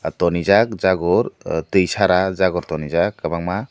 tonrijak jagor ah tuinsara jagor tongrijak kwbangma.